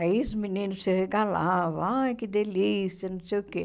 Aí os meninos se regalavam, ai, que delícia, não sei o quê.